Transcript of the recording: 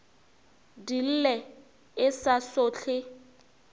di lle e sa sohle